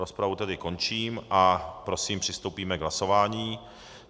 Rozpravu tedy končím a prosím, přistoupíme k hlasování.